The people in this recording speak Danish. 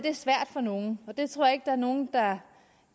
er svært for nogle og det tror jeg er nogen der